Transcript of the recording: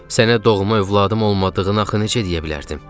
Sənə doğma övladım olmadığını axı necə deyə bilərdim?